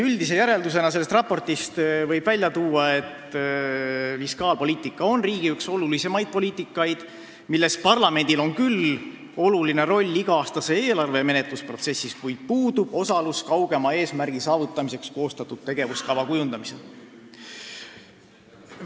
Üldise järeldusena võib sellest raportist välja tuua, et fiskaalpoliitika on riigi üks olulisemaid poliitikaid, milles parlamendil on küll oluline roll iga-aastase eelarve menetlusprotsessis osalemisel, kuid tal puudub osalus kaugema eesmärgi saavutamiseks koostatud tegevuskava kujundamisel.